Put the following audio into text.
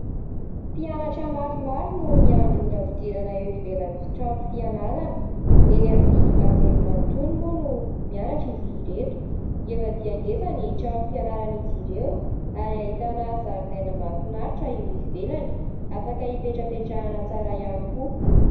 Mpianatra maromaro no miandry ora fidirana eo ivelan'ny trano fianarana. Eny amin'ny anjery mantolo moa no mianatra izy ireto. Ngeza dia ngeza ny trano fianaran'izy ireo, ary ahitana zaridaina mahafinaritra eo ivelany afaka hipetrapetrahana tsara ihany koa.